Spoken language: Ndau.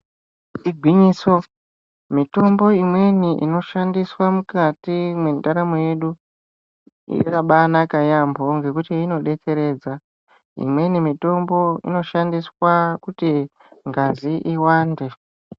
Igwinyiso mitombo imweni inoshanisaa mukati mentaramo yadu yakambaanaka yampho ngekuti inodetseredza imweni mitombo inoshandiswa kuti ngazi iwande.